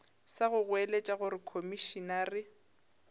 sa go goeletša gore komišenare